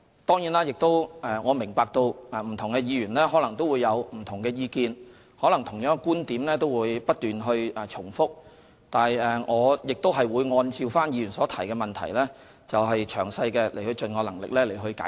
當然，我明白不同議員可能有不同的意見，可能同樣的觀點都會不斷地重複，但我亦會按照議員所提出的質詢，盡能力詳細解釋。